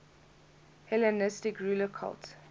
hellenistic ruler cult